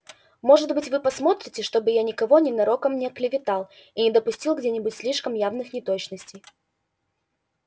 может быть вы посмотрите чтобы я никого ненароком не оклеветал и не допустил где-нибудь слишком явных неточностей